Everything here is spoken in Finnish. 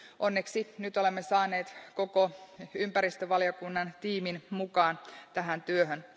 Onneksi nyt olemme saaneet koko ympäristövaliokunnan tiimin mukaan tähän työhön.